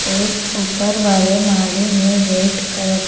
और ऊपर वाले माले में रेड कलर --